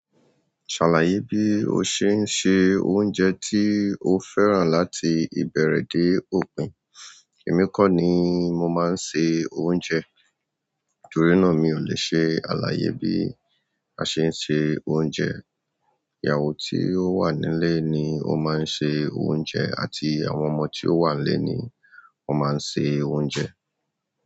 Ṣàlàyé bí ó ṣe ń se oúnjẹ tí o fẹ́ràn láti ìbẹ̀rẹ̀ de òpin. Èmi kọ́ ni mo máa ń se oúnjẹ, torí nàá mi ò lè ṣe àlàyé bí a ṣe ń ṣe oúnjẹ. Ìyàwó tí ó wà nílé ni ó máa ń ṣe oúnjẹ àti àwọn ọmọ tí ó wà nílé ni wọ́n máa ń ṣe oúnjẹ.